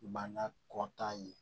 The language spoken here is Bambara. Bana kɔta ye